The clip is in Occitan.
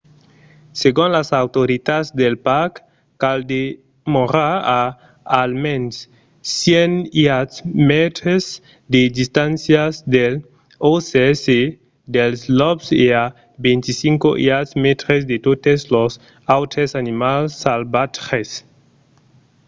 segon las autoritats del parc cal demorar a almens 100 iards/mètres de distància dels orses e dels lops e a 25 iards/mètres de totes los autres animals salvatges!